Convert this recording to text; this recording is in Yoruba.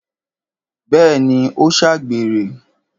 Bẹ́ẹ̀ni, ó ṣàgbèrè